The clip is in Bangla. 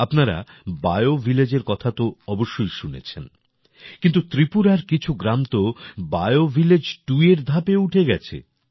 আপনারা বিও ভিলেজের কথা তো অবশ্যই শুনেছেন কিন্তু ত্রিপুরার কিছু গ্রাম তো বিও ভিলেজ 2 এর ধাপেও উঠে গেছে